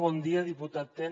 bon dia diputat ten